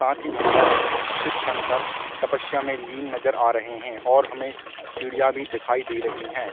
साथ ही भगवान शिव शकंर तपस्या में लीन नजर आ रहै है और हमे सीढ़ियां भी दिखाई दे रही है।